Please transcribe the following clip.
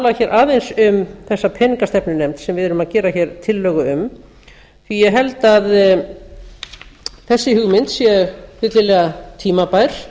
að tala aðeins um þessa peningastefnunefnd sem við erum að gera tillögu um því ég held að þessi hugmynd sé fyllilega tímabær